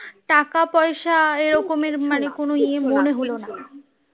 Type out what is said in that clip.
টাকা পয়সা এরকমের কোনো ইয়ে মনে হলো না